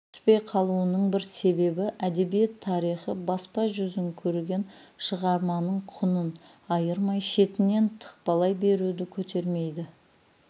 түспей қалуының бір себебі әдебиет тарихы баспа жүзін көрген шығарманың құнын айырмай шетінен тықпалай беруді көтермейді